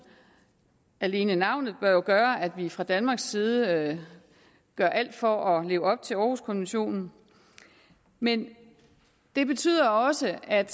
alene navnet bør jo gøre at vi fra danmarks side gør alt for at leve op til århuskonventionen men det betyder også at